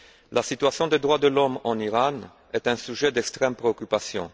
La situation des droits de l'homme en Iran est un sujet d'extrême préoccupation.